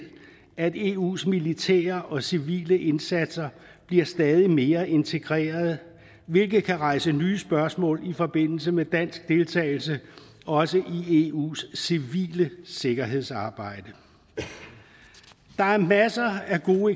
at eus militære og civile indsatser bliver stadig mere integrerede hvilket kan rejse nye spørgsmål i forbindelse med dansk deltagelse også i eus civile sikkerhedsarbejde der er masser af gode